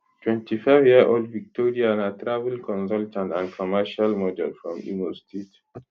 25yearold victoria na travel consultant and commercial model from imo state